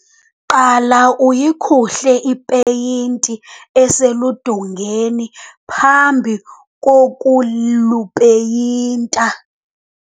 qala uyikhuhle ipeyinti eseludongeni phambi kokulupeyinta